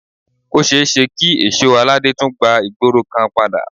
Ó ṣeéṣe kí èsó aládé tún gba ìgboro kan padà